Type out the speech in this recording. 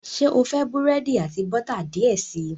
Ṣe o fẹ búrẹ́di ati bota diẹ sii?